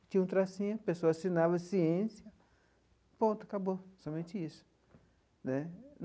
Tinha um tracinho, a pessoa assinava ciência, ponto, acabou, somente isso né.